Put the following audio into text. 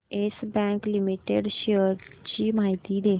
yes bank limited shares ची माहिती दे